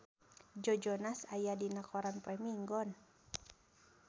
Joe Jonas aya dina koran poe Minggon